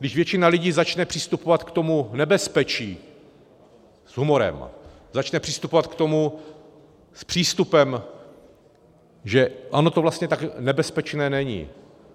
Když většina lidí začne přistupovat k tomu nebezpečí s humorem, začne přistupovat k tomu s přístupem, že ono to vlastně tak nebezpečné není.